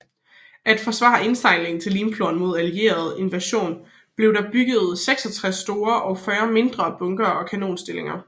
For at forsvare indsejlingen til Limfjorden mod allieret invasion blev der bygget 66 store og 40 mindre bunkere og kanonstillinger